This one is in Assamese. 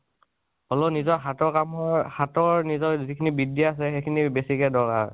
হলেও নিজৰ হাতৰ কামৰ হাতৰ যিখিনি বিদ্যা আছে, সেইখিনি বেছি কে দৰকাৰ।